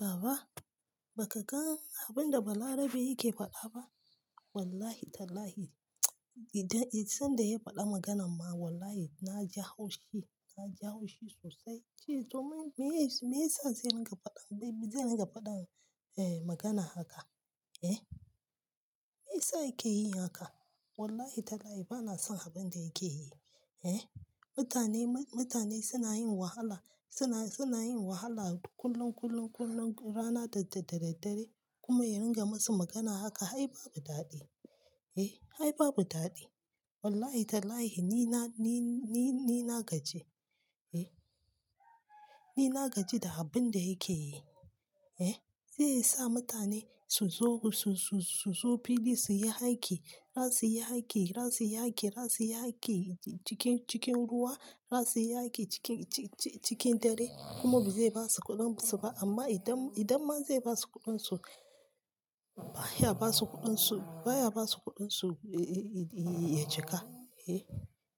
Baba ba ka gan abun da Balarabe yake faɗa ba? Wallahi tallahi, idan, idan sanda yayi faɗa maganan ma wallahi na ji haushi, na ji haushi sosai. Cewa me, me ya sa zai ringa faɗa dai-dai zai ringa faɗa, eh magana haka, eh. Me yasa yake yi haka? Wallahi tallahi ba na son abun da yake yi, eh. Mutane, mutane suna yin wahala, suna, suna yin wahala kullum, kullum, kullum rana da daddare kuma ya ringa masu magana haka, hai babu daɗi, eh, ai babu daɗi. Wallahi tallahi ni na, ni, ni, ni na gaji, eh. Ni na gaji da abun da yake yi, eh. Zai sa mutane su zo, su, su, su zo fili su yi aiki, za su yi aiki, za su yi aiki, za su yi aiki cikin, cikin ruwa, za su yi aiki cikin, ci-ci-cikin dare kuma ba zai ba su kuɗin su ba amma idan, idan ma zai ba su kuɗin su, baya ba su kuɗin su, baya ba su kuɗin su yi, yi, yi, ya cika, eh.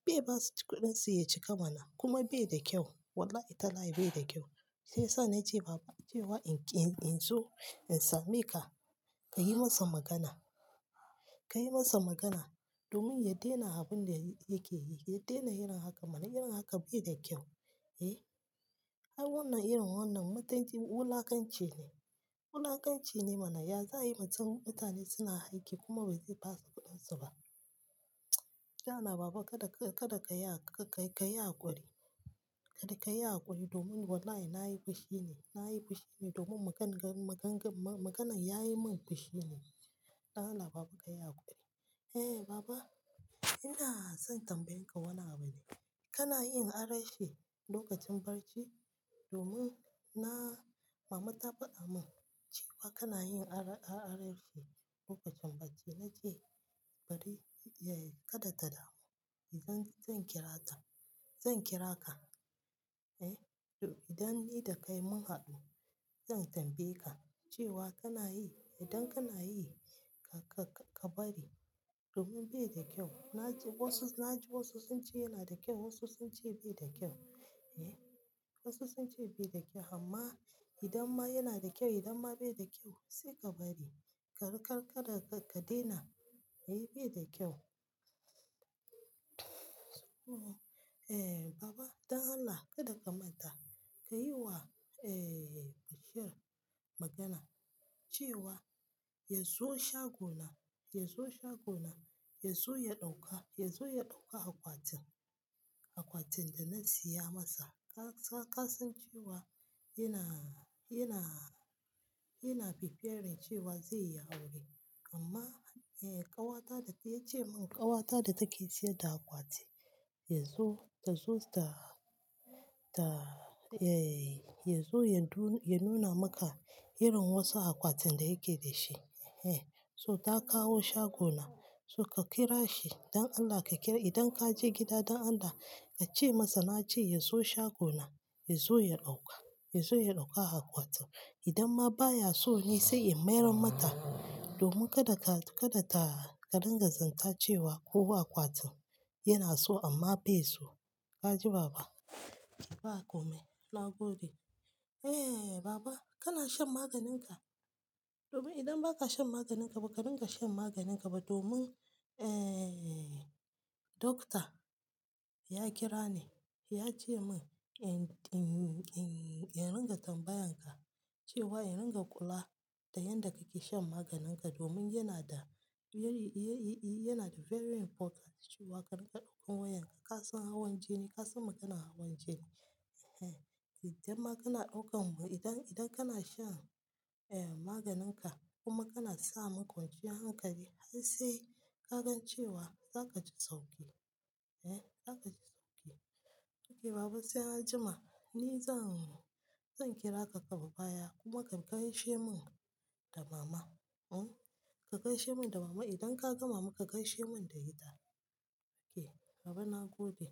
Bai ba su kuɗin su ya cika mana kuma bai da kyau. Wallahi tallahi bai da kyau. Sai sa na ce Baba na ce wa in, in zo in same ka, ka yi masa magana, ka yi masa magana domin ya daina abun da yake yi. Ya daina yin haka mana, irin haka bai da kyau, eh. Ai wannan irin wannan matanci wulakanci ne. Wulakanci ne mana, ya, za yi mutum, mutane suna aiki kuma bai zai ba su kuɗin su ba. Dan Allah Baba kada ka, kada ka yi, ka yi, ka yi hakuri. Kada ka yi hakuri domin wallahi na yi fushi ne, na yi fushi ne domin magan, magan, maganan ya yi min fushi ne. Dan Allah Baba ka yi hakuri. Eh Baba ina son tambaye ka wannan abu ne. Kana yin ara-shi lokacin barci? Domin na-- Mama ta faɗa mun cewa kana yin ara, ara-arashi lokacin barci. Na ce bari, ya, kada ta damu. Zan, zan kira ta. Zan kira ka, eh. Don idan ni da kai mun haɗu, zan tambaye ka cewa kana yi, idan kana yi ka, ka, ka bari domin bai da kyau. Na ji wasu, na ji wasu sun ce yana da kyau, wasu sun ce bai da kyau, eh. Wasu sun ce bai da kyau amma idan ma yana da kyau, idan ma bai da kyau sai ka bari. Ka, ka, kaɗa ka daina. Eh bai da kyau. Eh Baba don Allah kada ka manta ka yi wa, eh Bashir magana cewa ya zo shagona, ya zo shagona, ya zo ya ɗauka, ya zo ya ɗauka akwatin, akwatin da na siya masa. Ka, ka, ka san cewa yana, yana, yana preparing cewa zai yi aure. Amma eh ƙawata da ta, ya ce mun ƙawata da take siyar da akwati ya zo, ta zo ta, ta, ya, ya zo ya du-- ya nuna maka irin wasu akwatin da yake da shi, eh. So ta kawo shagona so ka kira shi don Allah ka kira. Idan ka je gida don Allah ka ce masa na ce ya zo shagona ya zo ya ɗauka, ya zo ya ɗauka akwatin. Idan ma baya so ni sai in mayar mata domin kada ka, kada ta, ka ringa zanta cewa ko akwatin yana so amma bai so. Ka ji Baba? Bakome na gode. Eh Baba kana shan maganin ka? Domin idan ba ka shan maganin ka ba, ka ringa shan maganin ka ba domin, eh, Dokta ya kira ni ya ce mun in, in, in, in ringa tambayan ka cewa in ringa kula da yadda ka ke shan maganin ka domin yana da very, ya, yi, yana da very important cewa ka ringa ɗaukan wayan ka. Ka san hawan jini, ka san maganan hawan jini. Eh, idan ma kana ɗauka, idan, idan kana shan, eh maganin ka kuma kana sa mun kwanciyar hankali har sai ka gan cewa za ka ji sauki, eh za ka ji sauki. Okay Baba sai anjima ni zan, zan kira ka daga baya kuma ka gaishe mun da Mama, oh. Ka gaishe mun da Mama idan ka ga Mama ka gaishe mun da ita. Okay Baba na gode.